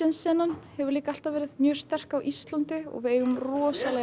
senan hefur líka alltaf verið mjög sterk á Íslandi og við eigum rosalega